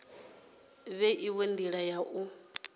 fhe inwe ndila ya u